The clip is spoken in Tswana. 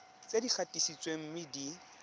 tse di gatisitsweng mme di